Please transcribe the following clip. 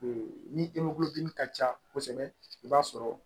ni ka ca kosɛbɛ i b'a sɔrɔ